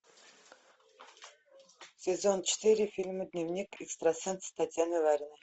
сезон четыре фильма дневник экстрасенса татьяны лариной